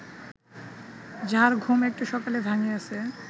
যাহার ঘুম একটু সকালে ভাঙ্গিয়াছে